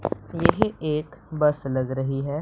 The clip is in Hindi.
ये ही एक बस लग रही है।